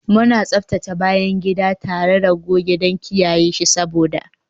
Muna tsaftace bayan gida tare da goge don kiyaye shi sabo